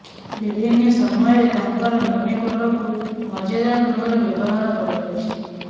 ବିଭିନ୍ନ ସମୟରେ ତାଙ୍କର ମିମି ଫଟୋକୁ ମଜାଦାର ଢ଼ଙ୍ଗର ବ୍ୟବହାର କରାଯାଉଛି